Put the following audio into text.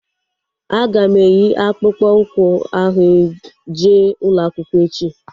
Aga m eyi akpụkpọ ụkwụ ahu jee ụlọakwụkwọ echi